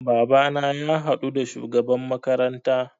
Babana ya haɗu da shugaban makaranta